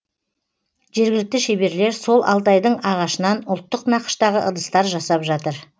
жергілікті шеберлер сол алтайдың ағашынан ұлттық нақыштағы ыдыстар жасап жатыр